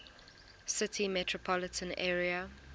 city metropolitan area